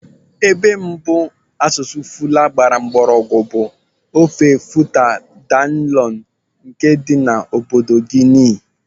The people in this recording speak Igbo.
Ebe mbụ asụsụ Fula gbara mgbọrọgwụ bụ ofe Futa Djallon nke dị na obodo Guinea.